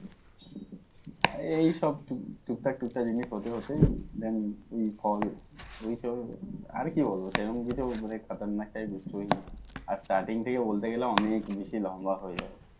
আর এই সব টুকটাক জিনিস হতে হতে then ওই ফল ওই সব আর কি বলবো সে রকম কিছু ক্ষতরনাক type story নেই আর starting থাকে বলতে গেলে অনেক বেশি লম্বা হয়ে যাবে।